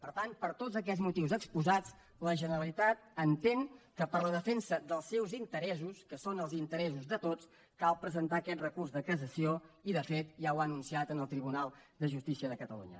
per tant per tots aquests motius exposats la generalitat entén que per a la defensa dels seus interessos que són els interessos de tots cal presentar aquest recurs de cassació i de fet ja ho ha anunciat en el tribunal de justícia de catalunya